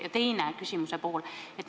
Ja küsimuse teine pool.